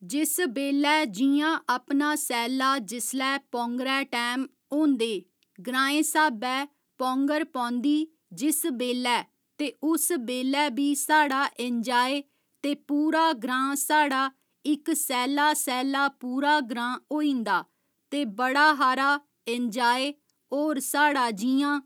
जिस बेल्लै जि'यां अपना सैला जिसलै पौंगरे टैम होंदे ग्रांए स्हाबै पौंगर पौंदी जिस बेल्लै ते उस बेल्लै बी साढ़ा एन्जाय ते पूरा ग्रां साढ़ा इक सैला सैला पूरा ग्रां होइंदा ते बड़ा हारा एन्जाय होर साढ़ा जि'यां